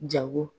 Jago